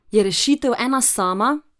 Je rešitev ena sama?